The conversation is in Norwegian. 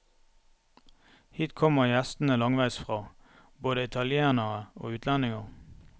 Hit kommer gjestene langveis fra, både italienere og utlendinger.